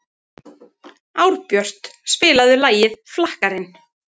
Árbjört, spilaðu lagið „Flakkarinn“.